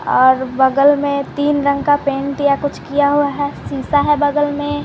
और बगल में तीन रंग का पेंट या कुछ किया हुआ है शीशा है बगल में।